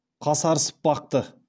қасарысып бақты